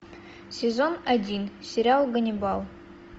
сезон один сериал ганнибал